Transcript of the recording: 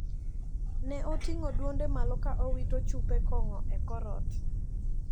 Ne oting`o duonde malo ka owito chupe kong`o e kor ot.